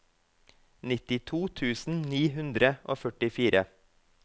nittito tusen ni hundre og førtifire